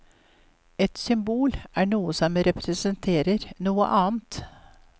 Et symbol er noe som representerer noe annet.